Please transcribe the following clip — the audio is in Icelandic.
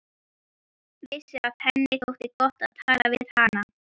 Vissi að henni þótti gott að tala við hana.